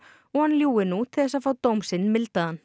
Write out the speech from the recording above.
og hann ljúgi nú til þess fá dóm sinn